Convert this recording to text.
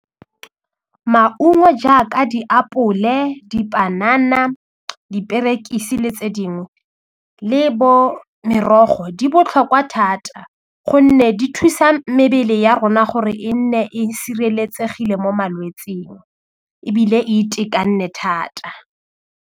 Maungo jaaka diapole, dipanana, diperekisi le tse dingwe le bo merogo di botlhokwa thata gonne di thusa mebele ya rona gore e nne e sireletsegile mo malwetsing ebile e thata.